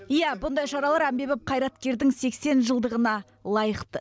иә бұндай шаралар әмбебап қайраткердің сексен жылдығына лайықты